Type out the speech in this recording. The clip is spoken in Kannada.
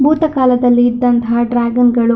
ಭೂತ ಕಾಲದಲ್ಲಿ ಇದ್ದಂತಹ ಡ್ರಾಗನ ಗಳು.